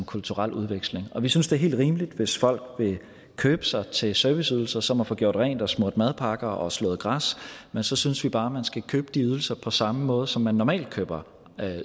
kulturel udveksling vi synes det er helt rimeligt hvis folk vil købe sig til serviceydelser som at få gjort rent og smurt madpakker og få slået græs men så synes vi bare man skal købe de ydelser på samme måde som man normalt køber